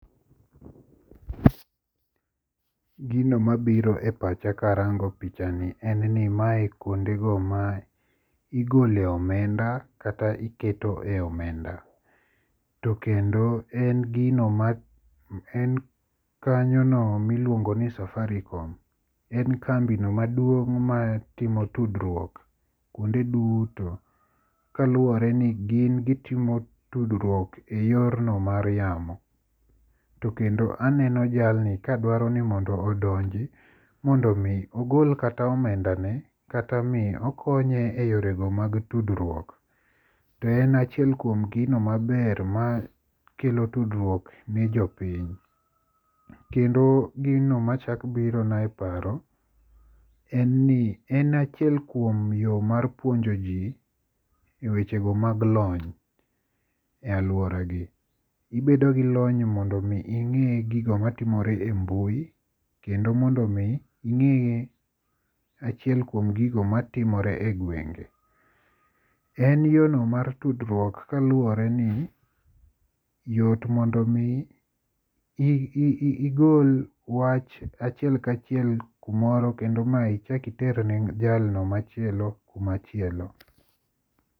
Gino mabiro e pacha karango picha ni en ni mae en kuondego ma igoloe omenda kata iketoe omenda. To kendo en gino en kanyono miluongo ni Safaricom. En kambino maduong' matimo tudruok kaluwore ni gin gitimo tudruok eyorno mar yamo. To kendo aneno jalni kadwaro ni mondo odonji mondo mi ogol kata omenda ne kata mi okonye eyorego mag tudruok. To en achiel kuom gino maber makelo tudruok ne jopiny. Kendo gino machak biro na e paro en ni en achiel kuom yo mar puonjoji e weche go mag lony e aluoragi. Ibedo gi lony e gigo matimore e mbui kendo mondo mi ing'e achiel kuom gigo matimore e gwenge. En yorno mar tudruok kaluwore ni, yot mondo mi igol wach achiel kachiel kumoro kendo ma ichak iter ne jalno machielpo kuma chielo.